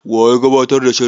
Wa ya gabatar da shirin?